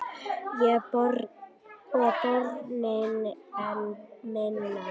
Og börnin enn minna.